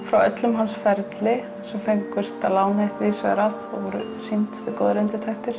frá öllum hans ferli sem fengust að láni víðsvegar að og voru sýnd við góðar undirtektir